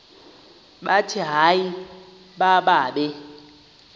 bathi hayi mababe